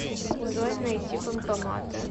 джой найти банкоматы